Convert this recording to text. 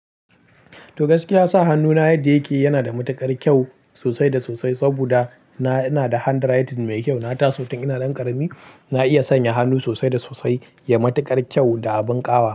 To gaskiya sa hannuna yadda yake yana da matuƙar kyau sosai da sosai saboda na, ina da handwriting mai kyau. Na taso tun ina nan ƙarami na iya sanya hannu sosai da sosai. Ya matuƙar kyau da abun ƙawa.